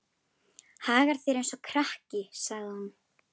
Hagar þér eins og krakki, sagði hún.